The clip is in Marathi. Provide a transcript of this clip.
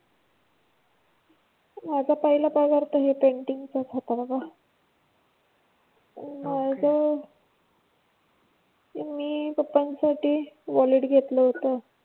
माझा पहिला पगार तर हे पेन्टिंग चाच होता बाबा. ओके. मग मी पप्पा साठी वॉलेट घेतलं होतं.